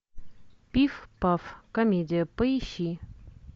пиф паф комедия поищи